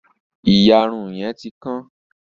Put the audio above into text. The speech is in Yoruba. Ìyàrun yẹn ti kán.